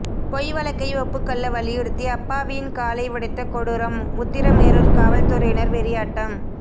பொய் வழக்கை ஒப்புக்கொள்ள வலியுறுத்தி அப்பாவியின் காலை உடைத்த கொடூரம் உத்திரமேரூர் காவல்துறையினர் வெறியாட்டம்